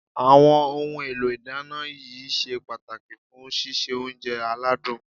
Àwọn ohun èlò ìdáná yìí ṣe pàtàkì fún síse oúnjẹ aládùn